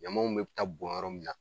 Ɲamanw bɛɛ bɛ taa bɔn yɔrɔ min na